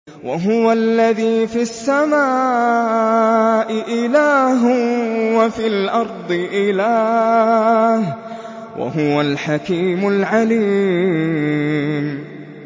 وَهُوَ الَّذِي فِي السَّمَاءِ إِلَٰهٌ وَفِي الْأَرْضِ إِلَٰهٌ ۚ وَهُوَ الْحَكِيمُ الْعَلِيمُ